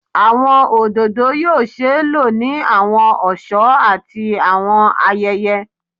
Awọn ododo yoo ṣee lo ni awọn ọṣọ ati awọn ayẹyẹ